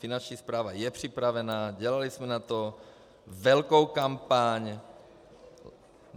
Finanční správa je připravená, dělali jsme na to velkou kampaň.